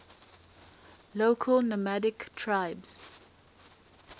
local nomadic tribes